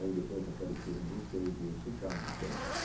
Aí depois apareceram vocês e eu checando sempre.